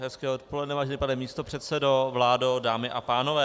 Hezké odpoledne, vážený pane místopředsedo, vládo, dámy a pánové.